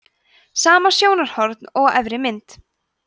sama sjónarhorn og á efri mynd